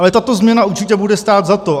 Ale tato změna určitě bude stát za to.